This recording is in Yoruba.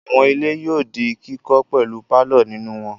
Àwọn ilé yóò di kíkọ́ pẹ̀lú pálọ̀ nínú wọn.